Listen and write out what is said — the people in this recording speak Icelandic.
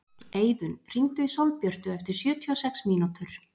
Eiðunn, hringdu í Sólbjörtu eftir sjötíu og sex mínútur.